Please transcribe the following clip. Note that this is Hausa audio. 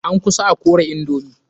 An kusa a kore indomi.